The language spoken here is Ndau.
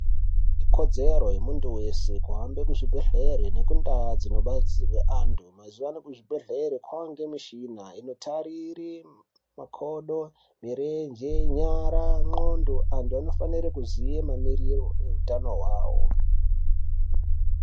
Ikodzero yemuntu weshe kuhambe kuzviibhehlere nekundau dzinobatsirwe anhu mazuwa ano kuzvibhehlere kwaane mishina inotarire makodo mirenje, nyara ,nxlondo anhu anofanire kuziye mamiriro ehutano hwavo.